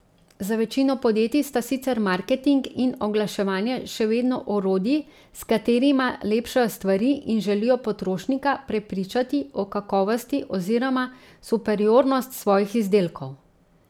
Za večino podjetij sta sicer marketing in oglaševanje še vedno orodji, s katerima lepšajo stvari in želijo potrošnika prepričati o kakovosti oziroma superiornost svojih izdelkov.